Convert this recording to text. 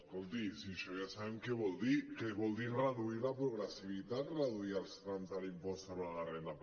escolti si això ja sabem què vol dir que vol dir reduir la progressivitat reduir els trams de l’impost sobre la renda